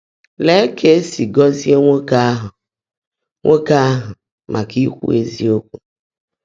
Leè kà è sí gọ́zìé nwoòké áhụ́ nwoòké áhụ́ màká íkwú ézíokwú!